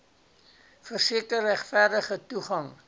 verseker regverdige toegang